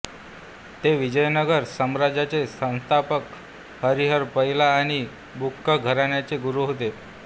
ते विजयनगर साम्राज्याचे संस्थापक हरिहर पहिला आणि बुक्क घराण्याचे गुरु होते